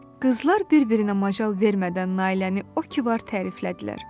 Qızlar bir-birinə macal vermədən Nailəni o ki var təriflədilər.